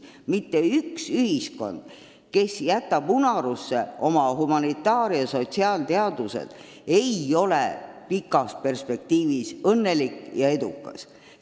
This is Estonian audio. Mitte ükski ühiskond, kes jätab unarusse oma humanitaar- ja sotsiaalteadused, ei ole pikas perspektiivis õnnelik ja edukas.